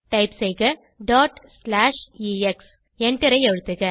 type செய்க dot slash X எண்டரை அழுத்துக